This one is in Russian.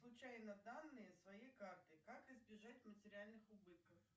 случайно данные своей карты как избежать материальных убытков